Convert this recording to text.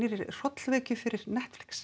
hrollvekju fyrir Netflix